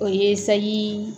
O ye sali